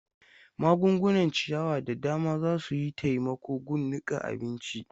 Magungunan ciyawa da dama za su yi taimako gun niƙa abinci.